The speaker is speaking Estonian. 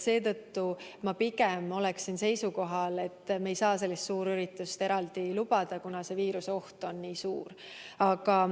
Seetõttu olen ma pigem seisukohal, et me ei saa sellist suurüritust eraldi lubada, kuna viiruseoht on nii suur.